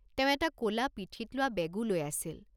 তেওঁ এটা ক'লা পিঠিত লোৱা বেগো লৈ আছিল।